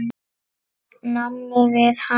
námi við HA.